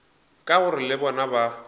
ka gore le bona ba